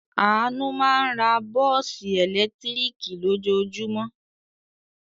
Àánú máa ń ra bọ́ọ́sì ẹ̀lẹ́tíríkì lójoojúmọ́.